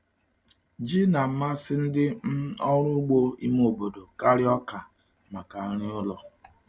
Ji n'amasị ndị um ọrụ ugbo ime obodo karịa ọka maka nri ụlọ.